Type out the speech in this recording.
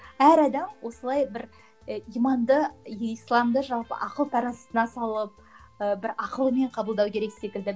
әр адам осылай бір і иманды исламды жалпы ақыл таразысына салып ы бір ақылымен қабылдау керек секілді